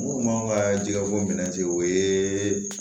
Mun b'an ka jika ko minɛ ten o ye